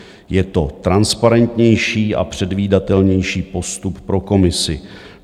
Je to transparentnější a předvídatelnější postup pro Komisi.